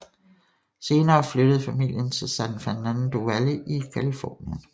Senere flyttede familien til San Fernando Valley i Californien